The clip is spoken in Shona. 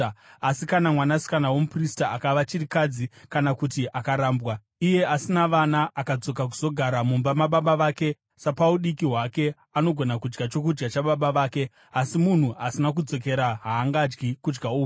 Asi kana mwanasikana womuprista akava chirikadzi kana kuti akarambwa, iye asina vana, akadzoka kuzogara mumba mababa vake sapaudiki hwake, anogona kudya chokudya chababa vake. Asi munhu asina kukodzera haangadyi kudya uku.